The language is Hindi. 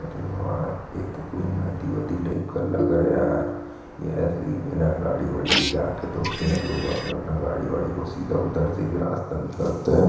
अरे वाह ए तो कोई नदी वदि टाइप का रहा रहा यार यह री मे न गाड़ी वाड़ी ले जाके धोते हैं लोग अपना-अपना गाड़ी वाड़ी को सीधा उधर से भी रास्ता निकलता हैं।